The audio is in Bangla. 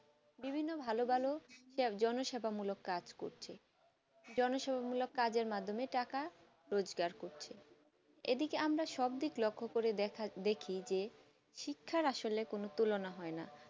বিভিন্ন ভালো ভালো জনসেবা মূলক কাজ করছে জনসেবা মূলক কাজের মাধ্যমে টাকা রোজকার করছে এদিকে আমরা সব দিক লক্ষ করে দেখি যে শিক্ষা আসলে কোনো তুলনা হয় না